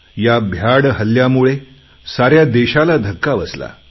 ह्या भ्याड हल्ल्यामुळे साऱ्या देशाला धक्का बसला